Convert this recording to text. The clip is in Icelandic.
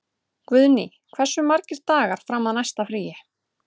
Guðný, hversu margir dagar fram að næsta fríi?